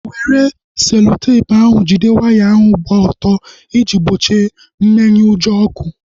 Were seloteepu ahu jide waya ahu gbaa ọtọ iji gbochie mmenyeujọ ọkụ